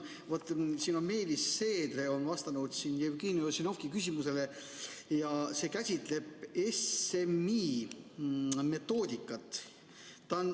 Vaat Meelis Seedre on vastanud Jevgeni Ossinovski küsimusele ja see käsitleb SMI metoodikat.